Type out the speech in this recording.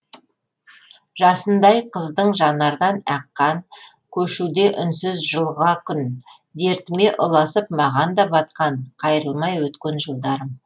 жасындай қыздың жанардан аққан көшуде үнсіз жылға күн дертіме ұласып маған да батқан қайрылмай өткен жылдарым